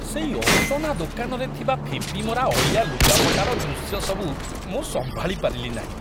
ସେଇ ଅସନା ଦୋକାନରେ ଥିବା ଫିମ୍ପିମରା ଅଳିଆ ଲୁଗାପଟାର ଦୃଶ୍ୟ ସବୁ ମୁଁ ସମ୍ଭାଳି ପାରିଲି ନାହିଁ।